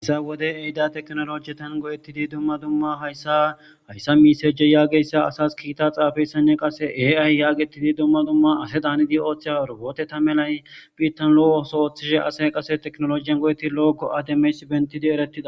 issa wode eyda teknolojietan go7ettidi dumma dumma hayssa hayssa misaje yaageyssa asas kiita xaafayssane qase eay yaagetidi dumma dumma ase daanidi ooththe horoboote ta melay biittan lo7ooso ooththishe ase qase teknolojiyan go7etti lo7okko ademes bentidi eretida